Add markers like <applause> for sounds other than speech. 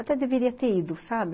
<unintelligible> Até deveria ter ido, sabe?